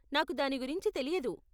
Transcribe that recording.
నాకు దాని గురించి తెలియదు.